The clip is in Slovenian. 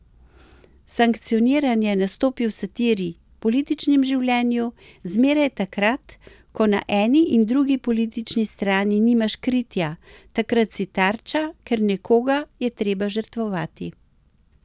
Sankcioniranje nastopi v satiri, v političnem življenju, zmeraj takrat, ko na eni in drugi politični strani nimaš kritja, takrat si tarča, ker nekoga je treba žrtvovati.